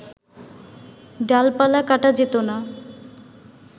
ডালপালা কাটা যেতো না